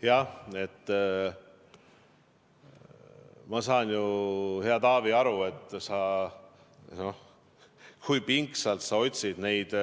Jah, ma saan ju, hea Taavi, aru, kui pingsalt sa otsid neid